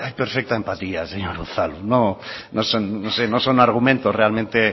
perfecta empatía señor unzalu no son argumentos realmente